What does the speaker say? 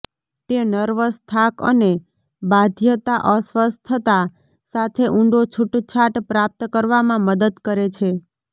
તે નર્વસ થાક અને બાધ્યતા અસ્વસ્થતા સાથે ઊંડો છૂટછાટ પ્રાપ્ત કરવામાં મદદ કરે છે